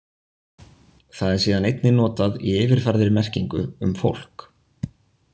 Það er síðan einnig notað í yfirfærðri merkingu um fólk.